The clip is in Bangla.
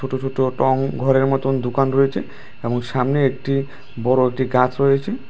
ছোট ছোট টং ঘরের মতন দুকান রয়েছে এবং সামনে একটি বড়ো একটি গাছ রয়েছে।